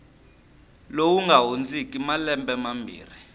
lowu nga hundziki malembe mambirhi